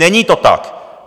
Není to tak!